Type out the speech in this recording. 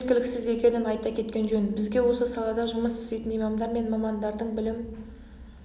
мұның жеткіліксіз екенін айта кеткен жөн бізге осы салада жұмыс істейтін имамдар мен мамандардың білім